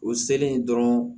O selen dɔrɔn